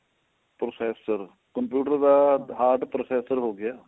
processor computer ਦਾ heart processor ਹੋ ਗਿਆ